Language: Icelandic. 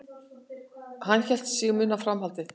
Hann hélt sig muna framhaldið.